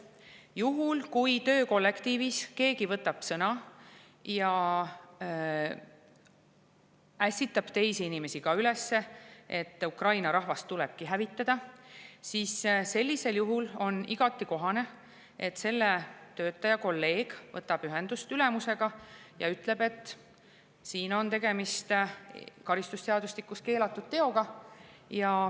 Juhul, kui töökollektiivis keegi võtab sõna ja ässitab ka teisi inimesi üles, et Ukraina rahvast tulebki hävitada, on igati kohane, et selle töötaja kolleeg võtab ühendust ülemusega ja ütleb, et karistusseadustiku järgi on tegemist keelatud teoga.